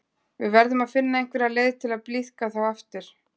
Við verðum að finna einhverja leið til að blíðka þá aftur.